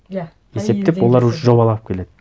иә есептеп олар уже жобалап келеді